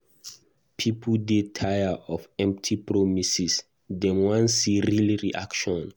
Pipo dey tire of empty promises; dem wan see real action.